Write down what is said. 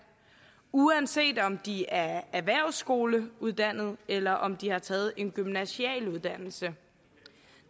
uanset om de er erhvervsskoleuddannede eller om de har taget en gymnasial uddannelse